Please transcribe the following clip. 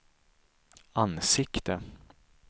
ansikte